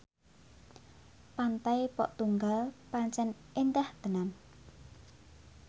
Pantai Pok Tunggal pancen endah tenan